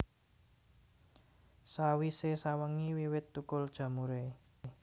Sawisé sawengi wiwit thukul jamuré